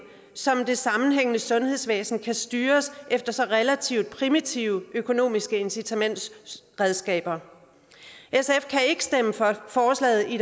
som det sammenhængende sundhedsvæsen kan styres efter så relativt primitive økonomiske incitamentsredskaber sf kan ikke stemme for forslaget i